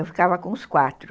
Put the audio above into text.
Eu ficava com os quatro.